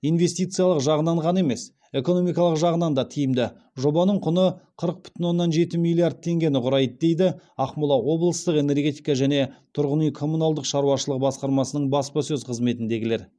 инвестициялық жағынан ғана емес экономикалық жағынан да тиімді жобаның құны қырық бүтін оннан жеті миллиард теңгені құрайды дейді ақмола облыстық энергетика және тұрғын үй коммуналдық шаруашылығы басқармасының баспасөз қызметіндегілер